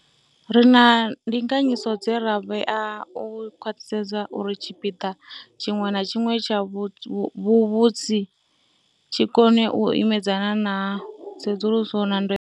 Ri na ndinganyiso dze ra vhea u khwaṱhisedza uri tshipiḓa tshiṅwe na tshiṅwe tshavhu vhusi tshi kone u imedzana na tsedzuluso dza ndayotewa.